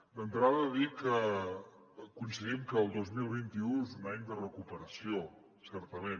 d’entrada dir que coincidim que el dos mil vint u és un any de recuperació certament